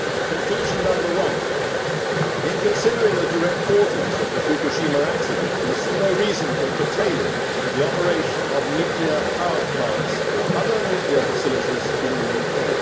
Conclusion number one reads in considering the direct causes of the Fukushima accident, we see no reason for curtailing the operation of nuclear power plants or other nuclear facilities in the UK'.